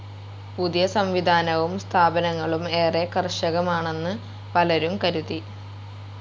പുതിയ സം‌വിധാനവും സ്ഥാപനങ്ങളും ഏറെ കർക്കശമാണെന്ന് പലരും കരുതി.